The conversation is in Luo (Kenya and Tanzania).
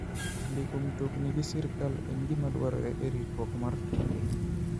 Ndiko mtokni gi sirkal en gima dwarore e ritruok mar trafik.